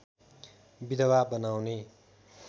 विधवा बनाउने